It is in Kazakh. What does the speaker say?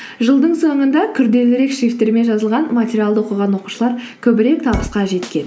жылдың соңында күрделірек шрифттермен жазылған материалды оқыған оқушылар көбірек табысқа жеткен